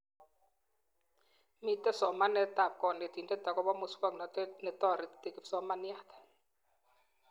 Mitee somanetab konetindet akobo muswonotet netoreti kipsomaniat